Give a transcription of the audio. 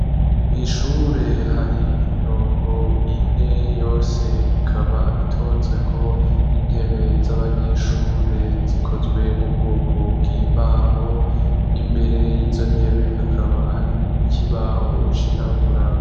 Mw'ishure hari imirongo ine yose ikaba itonzwe ko intebe z'abanyeshure zikozwe mu bwoko bw'imbaho imbere y'izo ntebe hakaba hari ikibaho cirabura.